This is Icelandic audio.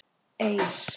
Eir